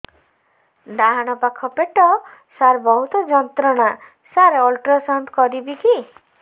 ଡାହାଣ ପାଖ ପେଟ ସାର ବହୁତ ଯନ୍ତ୍ରଣା ସାର ଅଲଟ୍ରାସାଉଣ୍ଡ କରିବି କି